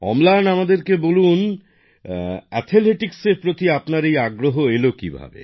অম্লান আমাদেরকে একটু বল অ্যাথলেটিক্স এর প্রতি তোমার এই আগ্রহ এলো কিভাবে